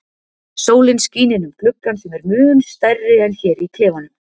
Sólin skín inn um gluggann sem er mun stærri en hér í klefanum.